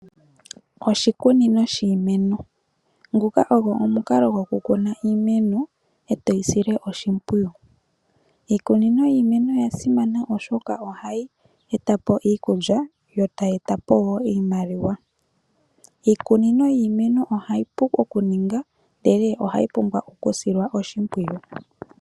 Oshikunino shiimeno nguka ogwo omukalo gwoku kuna iimeno etoyi sile oshimpwiyu. Iikunino yiimeno yasimana oshoka ohayi eta po iikulya yo tayi eta po iimaliwa. Iikunino yiimeno ohayi pu ninga ndele ohayi pumbwa oku silwa oshimpwiyu.